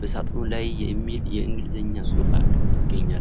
በሳጥኑ ላይየሚል የእንግሊዝኛ ጽሑፍ ይታያል።